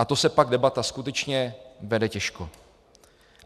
A to se pak debata skutečně vede těžko.